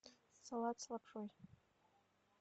салат с лапшой